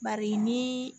Bari ni